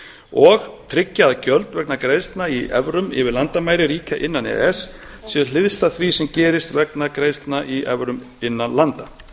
og tryggja að gjöld vegna greiðslna í evrum yfir landamæri ríkja innan e e s séu hliðstæð því sem gerist vegna greiðslna í evrum innan landa